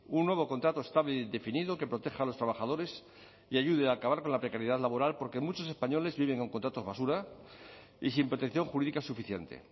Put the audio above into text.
un nuevo contrato estable e indefinido que proteja a los trabajadores y ayude a acabar con la precariedad laboral porque muchos españoles viven con contratos basura y sin protección jurídica suficiente